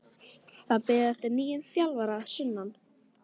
Það er beðið eftir nýjum þjálfara að sunnan.